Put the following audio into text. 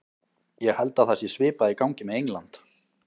Ég held að það sé svipað í gangi með England.